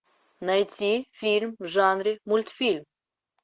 найти фильм в жанре мультфильм